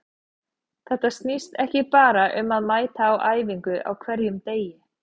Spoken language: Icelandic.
Þetta snýst ekki bara um að mæta á æfingu á hverjum degi.